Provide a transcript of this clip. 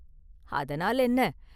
அதனால் என்ன?